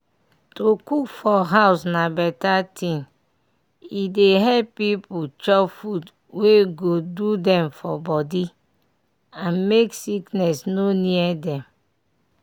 to cook for house na better thing e dey help pipu chop food wey go do dem for body and make sickness no near dem.